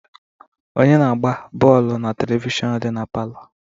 Onye na-agba bọọlụ na televishọnu dị na palọ?